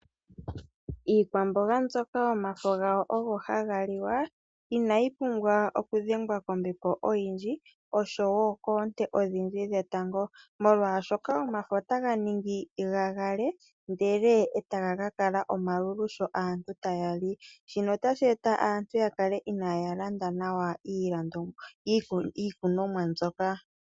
Iikwamboga mbyoka omafo gawo ogo haga liwa, inayi pumbwa okudhengwa kombepo oyindji , oshowo koonte odhindji dhetango , molwaashoka omafo ota ga ningi ga gagale ndele taga ka kala omalulu sho aantu taye ga li. Shino hashi etitha aantu ya kale itaya landa nawa iikunomwa mbyoka.